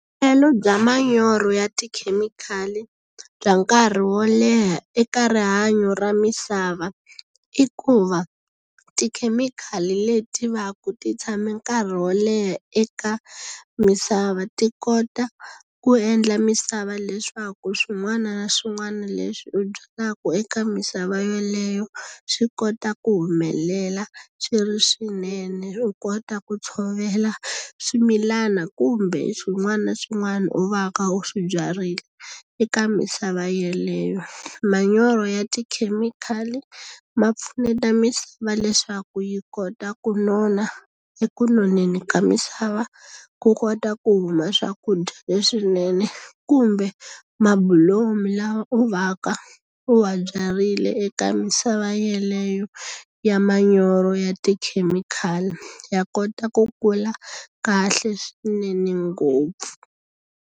bya manyoro ya tikhemikhali bya nkarhi wo leha eka rihanyo ra misava i ku va, tikhemikhali leti va ku ti tshame nkarhi wo leha eka misava ti kota ku endla misava leswaku swin'wana na swin'wana leswi u byalaka eka misava yeleyo, swi kota ku humelela swi ri swinene. U kota ku tshovela swimilana kumbe swin'wana na swin'wana u va ka u swi byarile eka misava yeleyo. Manyoro ya tikhemikhali ma pfuneta misava leswaku yi kota ku nona eku noneni ka misava ku kota ku huma swakudya leswinene, kumbe mabulomu lama u va ka u wa byarile eka misava yeleyo ya manyoro ya tikhemikhali. Ya kota ku kula kahle swinene ngopfu.